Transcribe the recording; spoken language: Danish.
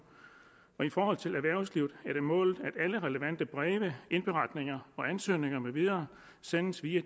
i forhold til erhvervslivet er det målet at alle relevante breve indberetninger og ansøgninger med videre senest i